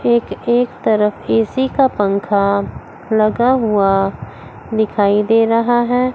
एक एक तरफ ए_सी का पंखा लगा हुआ दिखाई दे रहा है।